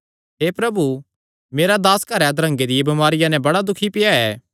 हे प्रभु मेरा दास घरैं अधरंगे दिया बमारिया नैं बड़ा दुखी पेआ ऐ